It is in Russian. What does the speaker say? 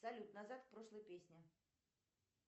салют назад к прошлой песне